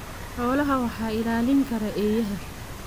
Xoolaha waxaa ilaalin kara eeyaha.